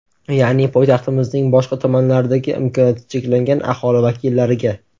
Ya’ni poytaxtimizning boshqa tumanlaridagi imkoniyati cheklangan aholi vakillariga.